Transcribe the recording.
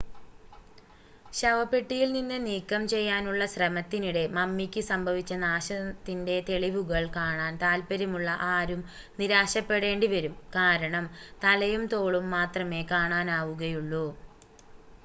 ശവപ്പെട്ടിയിൽ നിന്ന് നീക്കംചെയ്യാനുള്ള ശ്രമത്തിനിടെ മമ്മിക്ക് സംഭവിച്ച നാശത്തിൻ്റെ തെളിവുകൾ കാണാൻ താൽപ്പര്യമുള്ള ആരും നിരാശപെടേണ്ടിവരും കാരണം തലയും തോളും മാത്രമേ കാണാനാവുകയുള്ളൂ